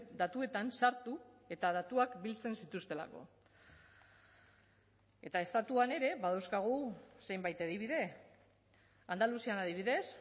datuetan sartu eta datuak biltzen zituztelako eta estatuan ere badauzkagu zenbait adibide andaluzian adibidez